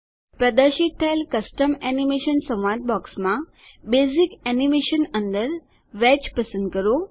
પ્રદર્શિત થયેલ custom animation સંવાદ બોક્સમાં બેસિક એનીમેશન અંદર વેજ પસંદ કરો